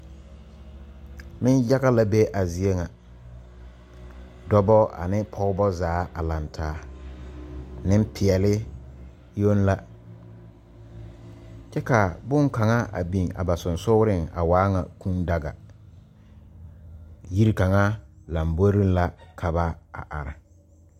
Nenyaga la be a zie ŋa dɔba ane pɔgeba zaa a laŋ taa nempeɛle yoŋ la kyɛ ka bonkaŋa a biŋ a ba sensogreŋ a waa ŋa Kūū daga yiri kaŋa lamboriŋ la ka ba a are.